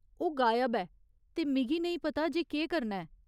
ओह् गायब ऐ ते मिगी नेईं पता जे केह् करना ऐ।